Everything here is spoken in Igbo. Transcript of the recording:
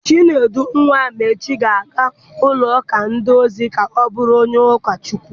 Chinedu nwa Amechi ga-aga ụlọ akwụkwọ ndị ozi ka ọ bụrụ onye ụkọchukwu.